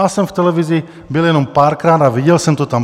Já jsem v televizi byl jenom párkrát a viděl jsem to tam.